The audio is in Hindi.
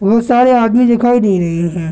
बहुत सारे आदमी दिखाई दे रहे हैं।